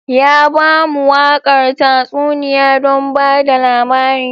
Ya ba mu waƙar tatsuniya don ba da labari.